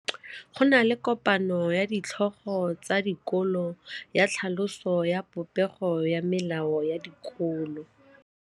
Go na le kopanô ya ditlhogo tsa dikolo ya tlhaloso ya popêgô ya melao ya dikolo.